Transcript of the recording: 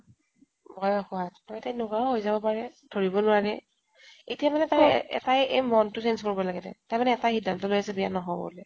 বয়স হোৱাত তাই তেনেকুৱাও হৈ যাব পাৰে। ধৰিব নোৱাৰি। এতিয়া মানে তাই তাই মনতো change কৰিব লাগে তাই। তাই মানে এটাই সিধান্ত লৈ আছে বিয়া নহও বুলি।